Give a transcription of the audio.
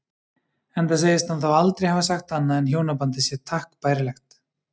Enda segist hann þá aldrei hafa sagt annað en hjónabandið sé takk bærilegt.